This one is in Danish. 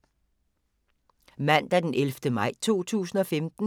Mandag d. 11. maj 2015